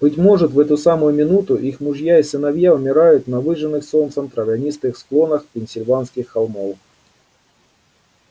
быть может в эту самую минуту их мужья и сыновья умирают на выжженных солнцем травянистых склонах пенсильванских холмов